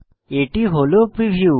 এটি হল প্রিভিউ